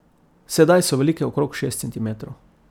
Sedaj so velike okrog šest centimetrov.